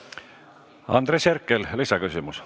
Andres Herkel, lisaküsimus.